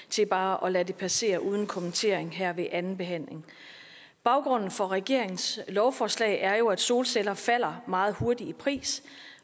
til bare at lade det passere uden kommentering her ved andenbehandlingen baggrunden for regeringens lovforslag er jo at solceller falder meget hurtigt i pris